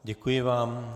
Děkuji vám.